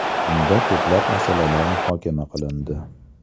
Unda ko‘plab masalalar muhokama qilindi.